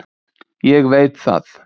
Ég veit það.